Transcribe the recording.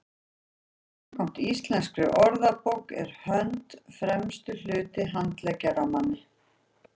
samkvæmt íslenskri orðabók er hönd „fremsti hluti handleggjar á manni